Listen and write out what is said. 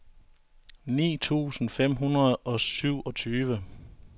ni tusind fem hundrede og syvogtyve